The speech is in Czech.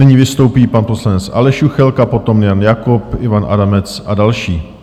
Nyní vystoupí pan poslanec Aleš Juchelka, potom Jan Jakob, Ivan Adamec a další.